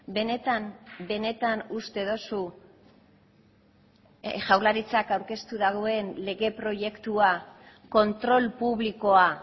benetan benetan uste duzu jaurlaritzak aurkeztu duen lege proiektua kontrol publikoa